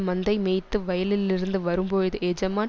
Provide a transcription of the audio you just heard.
மந்தைமேய்த்து வயலிலிருந்து வரும்போது எஜமான்